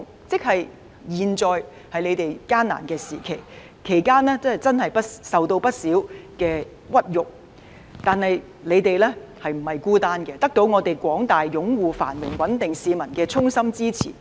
即使現在他們處於艱難的時期，其間受到不少屈辱，但他們並不孤單，得到廣大擁護繁榮穩定的市民衷心支持。